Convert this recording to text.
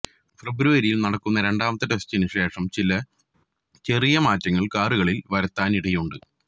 ഫെബ്രുവരിയില് നടക്കുന്ന രണ്ടാമത്തെ ടെസ്റ്റിനു ശേഷം ചില ചെറിയ മാറ്റങ്ങള് കാറുകളില് വരുത്താനിടയുണ്ട്